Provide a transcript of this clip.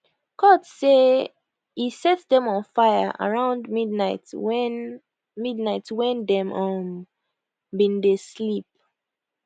court say e set dem on fire around midnight wen midnight wen dem um bin dey sleep